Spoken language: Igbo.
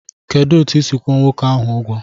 Kedụ etu isi kwụọ nwoke ahụ ụgwọ?